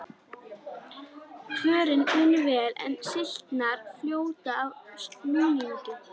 Kvörnin vinnur vel, en slitnar fljótt af núningnum.